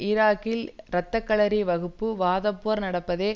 ஈராக்கில் இரத்த களரி வகுப்பு வாதப்போர் நடப்பதை